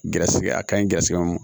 Garisigɛ a kaɲi gɛrɛsɛgɛ